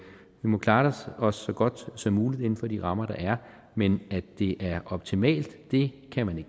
må klare os så godt som muligt inden for de rammer der er men at det er optimalt det kan man